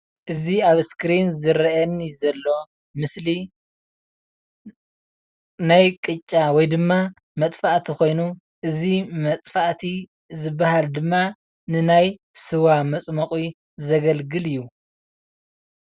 እዚ ኣብ እስክሪን ዝረአየኒ ዘሎ ምስሊ ናይ ቅጫ ወይ ድማ መፅፋእቲ ኮይኑ እዚ መፅፋእቲ ዝብሃል ድማ ንናይ ስዋ መፅሞቂ ዘገልግል እዩ፡፡